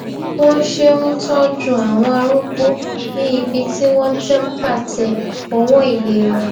wón ṣe ń tójú àwọn arúgbó ní ibi tí wón ti pàtẹ òwò ìlera